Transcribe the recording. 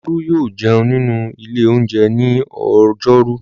Olú yóò jẹun nínú ilé-oúnjẹ ní ọjọ́rú.